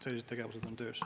Sellised tegevused on töös.